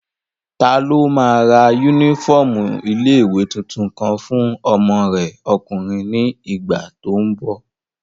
Taló máa ra yúnífọ́ọ̀mù ilé-ìwé tuntun kan fún ọmọ rẹ ọkùnrin ní ìgbà tó n bọ̀?